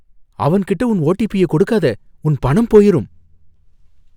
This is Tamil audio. அவன் கிட்ட உன் ஓடிபிய கொடுக்காத. உன் பணம் போயிரும்.